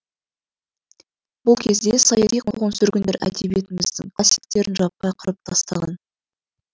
бұл кезде саяси қуғын сүргіндер әдбиетіміздің классиктерін жаппай қырып тастаған